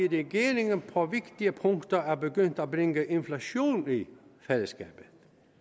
regeringen på vigtige punkter er begyndt at bringe inflation ind i fællesskabet